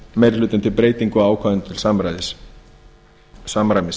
meiri hlutinn til breytingu á ákvæðum til samræmis